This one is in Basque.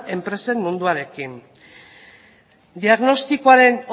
ere enpresen munduarekin diagnostikoaren